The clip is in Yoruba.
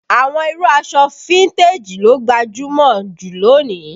Àwọn irú aṣọ fíntèjì ló gbajúmọ̀ ju lónìí